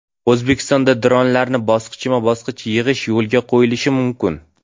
O‘zbekistonda dronlarni bosqichma-bosqich yig‘ish yo‘lga qo‘yilishi mumkin.